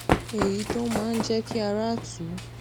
èyí tó máa ń jé kí ara tù ú